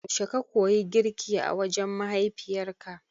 Yaushe ka koyi girki a wajen mahaifiyarka?